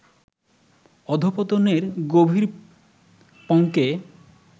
অধঃপতনের গভীর পঙ্কে